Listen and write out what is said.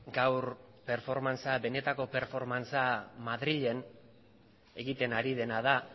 gaur benetako performance a madrilen egiten ari dena da